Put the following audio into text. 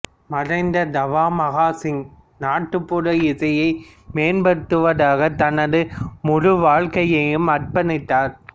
மறைந்த தாவ மகா சிங் நாட்டுப்புற இசையை மேம்படுத்துவதற்காக தனது முழு வாழ்க்கையையும் அர்ப்பணித்தார்